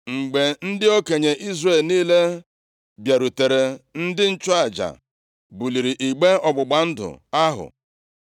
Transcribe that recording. Mgbe ndị okenye Izrel niile bịarutere, ndị nchụaja buliri igbe ọgbụgba ndụ ahụ.